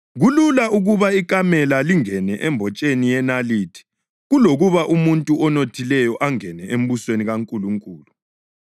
Kulula ukuba ikamela lingene embotsheni yenalithi kulokuba umuntu onothileyo angene embusweni kaNkulunkulu.”